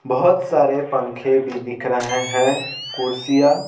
बहुत सारे पंखे भी दिख रहे हैं कुर्सियां--